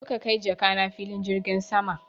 Zo ka kai jakana filin jirgin sama!